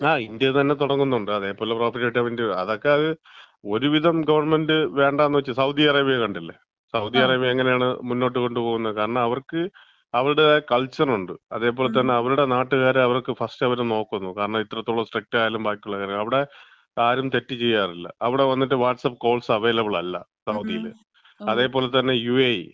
ങാ, ഇന്ത്യതന്നെ തുടങ്ങുന്നുണ്ട്. അതേപോലെ പ്രോഫിറ്റ് കിട്ടാൻ വേണ്ടി. അതൊക്കെ ഒരുവിധം ഗവൺമെന്‍റ് വേണ്ടാന്ന് വച്ച്. സൗദി അറേബ്യ കണ്ടില്ലേ, സൗദി അറേബ്യ എങ്ങനെയാണ് മുന്നോട്ട് കൊണ്ടുപോണത്. കാരണം അവർക്ക് അവരുടേതായ കൾച്ചർ ഉണ്ട്. അതേപോലെ തന്നെ അവരുടെ നാട്ടുകാരെ അവർക്ക് ഫസ്റ്റ് അവര് നോക്കുന്നു. കാരണം എത്രത്തോളം സ്ട്രിക്റ്റ് ആയാലും ബാക്കിയുള്ള കാര്യം. അവിടെ ആരും തെറ്റ് ചെയ്യാറില്ല. അവിടെ വന്നിട്ട് വാട്സ്ആപ്പ് കോൾസ് അവൈലബിൾ അല്ല സൗദിയിൽ. അതേപോലെ തന്നെ യുഎഇ,